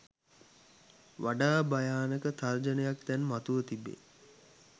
වඩා භයානක තර්ජනයක් දැන් මතුව තිබේ.